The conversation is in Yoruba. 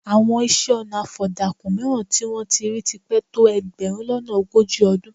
Àwọn isẹ́-ọnà afọ̀dàkùn mìíràn tí wọ́n ti rí ti pẹ́ tó ẹgbẹ̀rún lọ́nà ogójì ọdún.